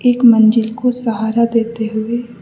एक मंजिल को सहारा देते हुए --